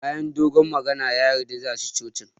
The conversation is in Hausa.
Bayan dogon magana, ya yarda za shi cocin